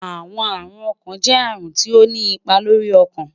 Awọn arun ọkan jẹ arun ti o ni ipa lori ọkan